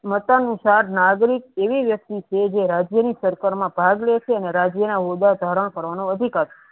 મતા અનુસાર નાગરિક એવી વ્યક્તિ છે રાજ્ય ની સરકાર મા ભાગ લે છે અને રાજ્ય ના ઓદા ધારણ કરવાનુ અધિકાર